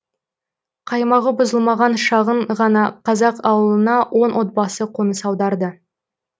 қаймағы бұзылмаған шағын ғана қазақ ауылына он отбасы қоныс аударды